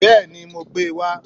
Bẹ́ẹ̀ni, mo gbé e wá